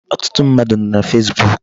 Ọtụtụ mmadụ nọ na Facebook.